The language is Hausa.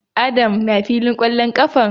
Adam na filin kwallon kafar?